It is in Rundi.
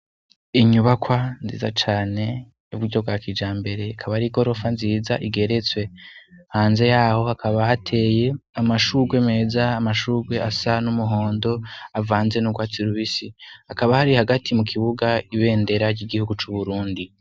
Inyubakwa nziza cane yubwa iryo gwa kija mbere akabari gorofa nziza igeretswe hanze yaho hakabaateye amashurwe meza amashurwe asa n'umuhondo avanze n'urwatsi irubisi hakaba hari hagati mu kibuga ibendera ry'igihugu c'uburundi.